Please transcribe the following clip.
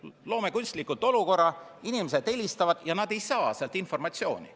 Loome kunstlikult olukorra, kus inimesed helistavad ja nad ei saa informatsiooni.